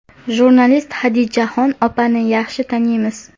Jurnalist Xadichaxon opani yaxshi taniymiz.